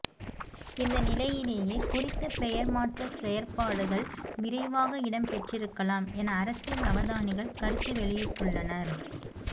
இந்த நிலையிலேயே குறித்த பெயர் மாற்ற செயற்பாடுகள் விரைவாக இடம்பெற்றிருக்கலாம் என அரசியல் அவதானிகள் கருத்து வெளியிட்டுள்ளனர்